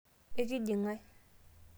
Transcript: ekinji ngae?